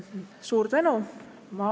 Suur tänu!